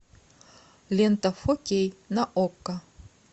лента фо кей на окко